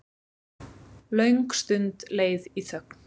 Löng stund leið í þögn.